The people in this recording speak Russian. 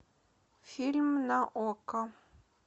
фильм на окко